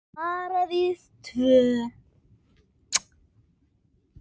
Lokið er nú þessi ætlan.